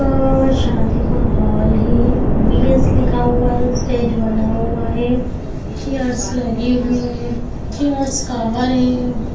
और शादी का हॉल है वी.एस लिखा हुआ है स्टेज बना हुआ है चेयर लगी हुई है चेयर्स कवर है।